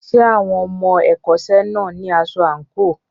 Ṣé àwọn ọmọ ẹ̀kọ́ṣẹ́ náà ní aṣọ àǹkóò?